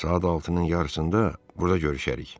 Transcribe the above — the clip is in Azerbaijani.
Saat 6-nın yarısında burda görüşərik.